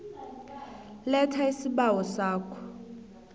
letha isibawo sakho